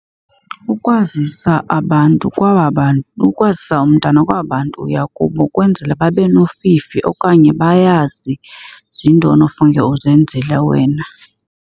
Ukwazisa abantu kwaba ukwazisa umntana kwaba bantu uya kubo kwenzele babe nofifi okanye bayazi zintoni ofuneke uzenzile wena.